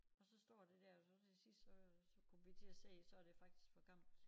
Og så står det dér og så til sidst så så kom vi til at se så det faktisk for gammelt